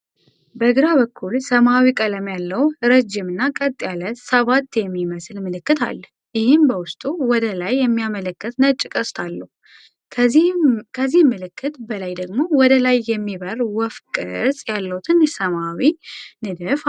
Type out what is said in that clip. በግራ በኩል ሰማያዊ ቀለም ያለው ረጅም እና ቀጥ ያለ "7" የሚመስል ምልክት አለ፣ ይህም በውስጡ ወደ ላይ የሚያመለክት ነጭ ቀስት አለው። ከዚህ ምልክት በላይ ደግሞ ወደ ላይ የሚበር ወፍ ቅርጽ ያለው ትንሽ ሰማያዊ ንድፍ አለ።